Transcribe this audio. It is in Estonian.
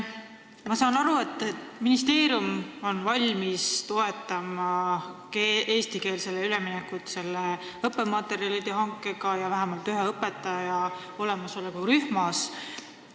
Ma saan aru, et ministeerium on valmis toetama eestikeelsele õppele üleminekut õppematerjalide hankega ja vähemalt ühe eesti keele õpetaja olemasoluga rühmas.